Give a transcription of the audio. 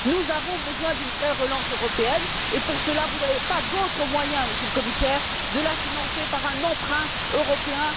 Nous avons besoin d'une vraie relance européenne et, pour cela, vous n'avez pas d'autre moyen, Monsieur le Commissaire, que de la financer par un emprunt européen.